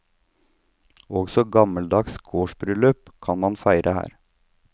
Også gammeldags gårdsbryllup kan man feire her.